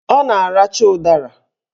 Ọ na-aracha ụdara